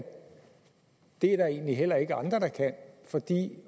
det er der egentlig heller ikke andre der kan fordi